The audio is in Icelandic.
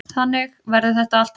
Þannig verður þetta alltaf.